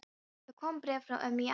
Það kom bréf frá ömmu í Ameríku.